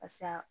Pase